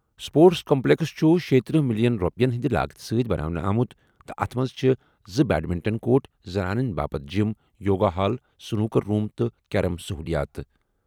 Sports complex چھُ شیٕتٔرہ million رۄپیَن ہٕنٛدِ لاگتہٕ سۭتۍ بناونہٕ آمُت تہٕ اَتھ منٛز چھِ زٕ بیڈمنٹن کورٹ، زنانَن باپتھ gym, yoga hall, snooker room تہٕ کیرم سٔہوٗلِیات۔